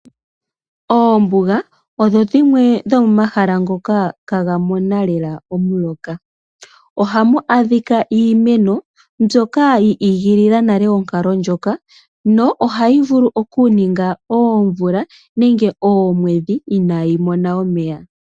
Oombuga odho dhimwe dhomomahala ngoka ihaaga mono lela omuloka. Ohamu adhika iimeno mbyoka yi igilila nale onkalo ndjoka, nohayi vulu okuninga oomvula nenge oomwedhi inayi mona omeya.